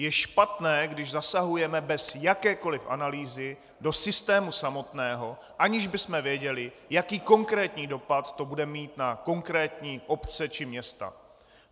Je špatné, když zasahujeme bez jakékoliv analýzy do systému samotného, aniž bychom věděli, jaký konkrétní dopad to bude mít na konkrétní obce či města.